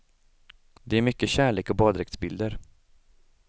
Det är mycket kärlek och baddräktsbilder.